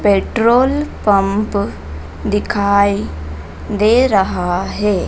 Petrol pump दिखाई दे रहा है।